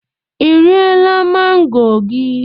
Ị riela mango gị?